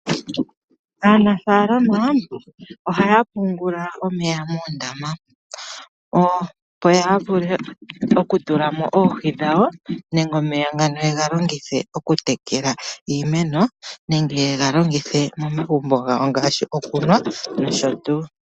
Aanafalama ohaya pungula omeya moondama opo ya vule okutulamo oohi dhawo, nenge omeya ngano ye ga longithe okutekela iimeno, nenge ye ga longithe momagumbo gawo ngaashi okunwa nosho tuu.